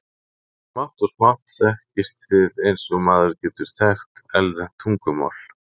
Smátt og smátt þekkist þið eins og maður getur þekkt erlent tungumál.